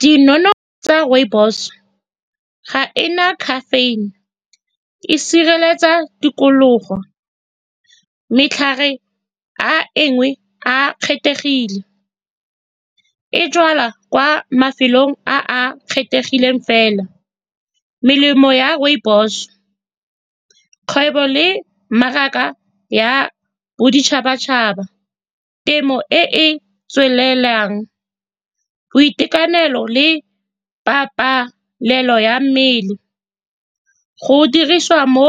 Di tsa rooibos ga e na caffein-e, e sireletsa tikologo. Matlhare a engwe a kgethegile, e jalwa kwa mafelong a a kgethegileng fela. Melemo ya rooibos, kgwebo le mmaraka ya boditšhabatšhaba, temo e e tswelelang, boitekanelo le pabalelo ya mmele. Go dirisiwa mo